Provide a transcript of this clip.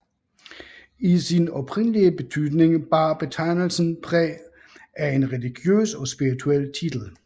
I sin oprindelige betydning bar betegnelsen præg af en religiøs og spirituel titel